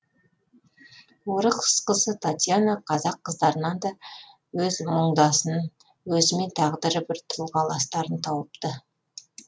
орыс қызы татьяна қазақ қыздарынан да өз мұңдасын өзімен тағдыры бір тұрғыластарын тауыпты